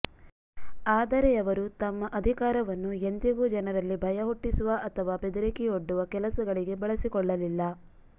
ಆದರೆ ಅವರು ತಮ್ಮ ಅಧಿಕಾರವನ್ನು ಎಂದಿಗೂ ಜನರಲ್ಲಿ ಭಯ ಹುಟ್ಟಿಸುವ ಅಥವಾ ಬೆದರಿಕೆಯೊಡ್ಡುವ ಕೆಲಸಗಳಿಗೆ ಬಳಸಿಕೊಳ್ಳಲಿಲ್ಲ